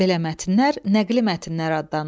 Belə mətnlər nəqli mətnlər adlanır.